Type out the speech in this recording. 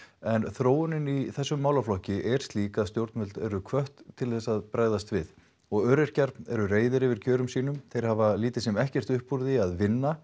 en þróunin í þessum málaflokki er slík að stjórnvöld eru hvött til að bregðast við og öryrkjar eru reiðir yfir kjörum sínum þeir hafa lítið sem ekkert upp úr því að vinna